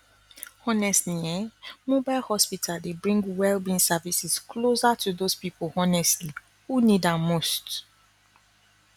honestly um mobile hospital dey bring well being services closer to those people honestly who need am most